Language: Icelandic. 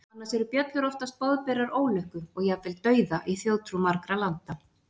annars eru bjöllur oftast boðberar ólukku og jafnvel dauða í þjóðtrú margra landa